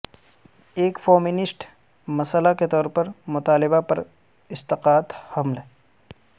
ایک فومینسٹ مسئلہ کے طور پر مطالبہ پر اسقاط حمل